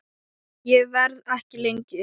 Ég verð ekki lengi